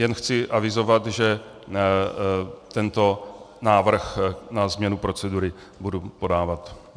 Jen chci avizovat, že tento návrh na změnu procedury budu podávat.